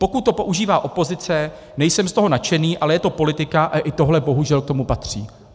Pokud to používá opozice, nejsem z toho nadšený, ale je to politika a i tohle bohužel k tomu patří.